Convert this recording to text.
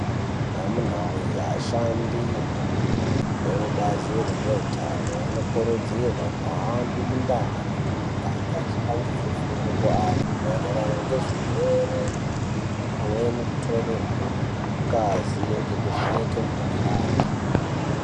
Amunaa wee ashandi ekubazi rezveutano anokurudzirwe kuhambe mundau nemumagange avhipangidze fundo kuantu maererano nezvirwere pamweni kutore ngazi ngekuvheneke mukhuhlani.